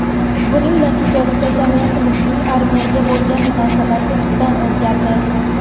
Buning natijasida jamiyatimizning armiyaga bo‘lgan munosabati tubdan o‘zgardi.